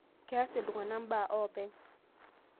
Keas iltung'ana mbaa oopeny